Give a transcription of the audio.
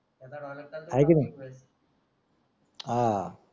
त्याचा dialogue